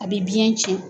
A bɛ biɲɛ cɛn